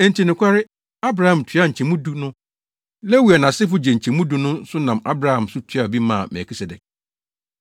Enti nokware, Abraham tuaa nkyɛmu du no, Lewi a nʼasefo gye nkyɛmu du no nso nam Abraham so tuaa bi maa Melkisedek.